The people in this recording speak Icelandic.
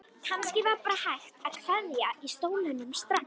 Kannski var bara hægt að kveikja í stólnum strax.